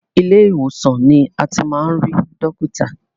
Ilé ìwòsàn ni a ti máa ri dọ́kítà.